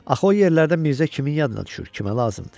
Axı o yerlərdə Mirzə kimin yadına düşür, kimə lazımdır?